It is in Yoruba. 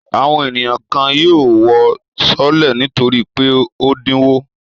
Àwọn ènìyàn kan yóò wọ sọọ́lẹ̀ nítorí pé ó dínwó.